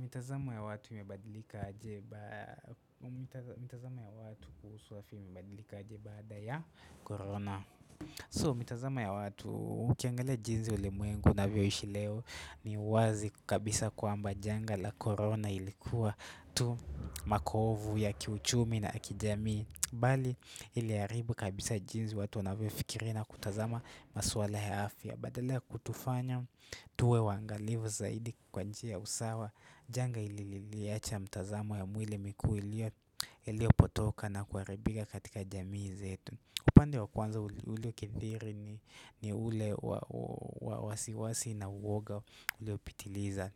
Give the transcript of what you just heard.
Mitazamo ya watu imebadilika aje bada ya corona So, mitazamo ya watu ukiangalia jinzi ule mwengu unavyo ishi leo ni wazi kabisa kwamba janga la corona ilikuwa tu makovu ya kiuchumi na akijami Bali iliaribu kabisa jinzi watu wanavyo fikiri na kutazama maswala yaafya Badala kutufanya tuwe wangalivu zaidi kwanjia usawa Janga ili liyacha mtazama ya mwile miku ilio potoka na kuaribiga katika jamii zetu upande wa kwanza ulio kendiri ni ule wasiwasi na uwoga ulio pitiliza